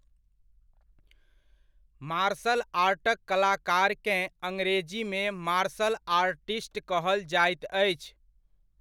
Martial आर्टक कलाकारकेँ अंग्रेजीमे मार्शल आर्टिस्ट कहल जाइत अछि।